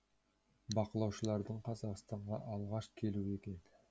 бақылаушылардың қазақстанға алғаш келуі екен